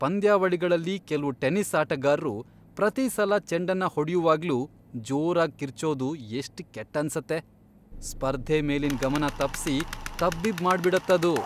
ಪಂದ್ಯಾವಳಿಗಳಲ್ಲಿ ಕೆಲ್ವು ಟೆನಿಸ್ ಆಟಗಾರ್ರು ಪ್ರತೀ ಸಲ ಚೆಂಡನ್ನ ಹೊಡ್ಯುವಾಗ್ಲೂ ಜೋರಾಗ್ ಕಿರ್ಚೋದು ಎಷ್ಟ್ ಕೆಟ್ಟನ್ಸತ್ತೆ, ಸ್ಪರ್ಧೆ ಮೇಲಿನ್ ಗಮನ ತಪ್ಸಿ ತಬ್ಬಿಬ್ಬ್ ಮಾಡ್ಬಿಡತ್ತದು.